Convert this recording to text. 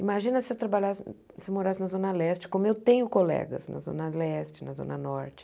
Imagina se eu trabalhase se eu morasse na Zona Leste, como eu tenho colegas na Zona Leste, na Zona Norte.